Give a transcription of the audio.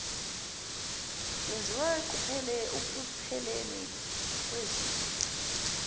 kwenziwa ukupheleni kwezinga